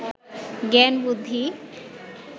জ্ঞান বুদ্ধি